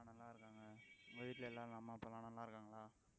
ஆஹ் நல்லா இருக்காங்க, உங்க வீட்டுல எல்லாரும் அம்மா அப்பா எல்லாம் நல்லா இருக்காங்களா